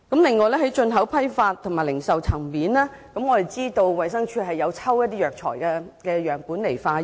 此外，在進口批發及零售層面，我們知道衞生署會抽取一些藥材樣本進行化驗。